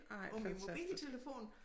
På min mobiltelefon